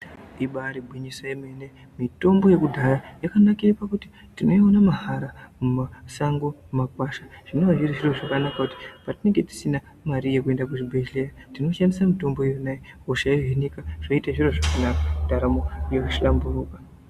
Ibari gwinyiso yemene mitombo yekudhaya Yakanakire pakuti tinoiona mahara mumasango mumakwasha zvinowa zvirizvo zvakanaka pakuti patinenge tisina mari yekuenda kuzvibhedhleya tinoshandisa mitombo yonayo hosha yohinika zvoite zviro zvakanaka ndaramo yohlamburuka.